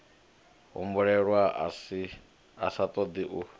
humbulelwa a sa ṱoḓi u